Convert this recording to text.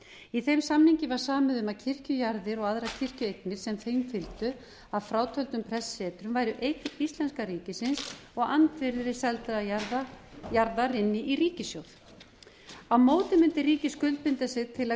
í þeim samningi var samið um að kirkjujarðir og aðrar kirkjueignir sem þeim fylgdu að frátöldum prestssetrum væri eign íslenska ríkisins og andvirði seldrar jarðar inn í ríkissjóð á móti mundi ríkið skuldbinda sig til að